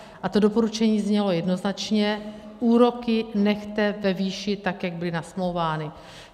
A to doporučení znělo jednoznačně: úroky nechte ve výši tak, jak byly nasmlouvány.